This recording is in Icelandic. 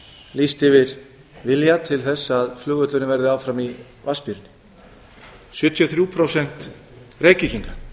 lýst yfir vilja til þess að flugvöllurinn verði áfram í vatnsmýrinni sjötíu og þrjú prósent reykvíkinga